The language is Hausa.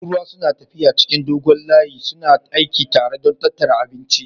Tururuwa suna tafiya cikin dogon layi suna aiki tare don tattara abinci